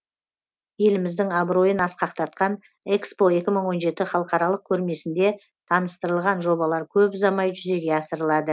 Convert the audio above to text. еліміздің абыройын асқақтатқан экспо екі мың он жеті халықаралық көрмесінде таныстырылған жобалар көп ұзамай жүзеге асырылады